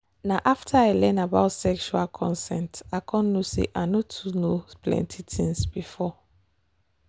na after i learn about sexual consent i come know say i no too know plenty things before.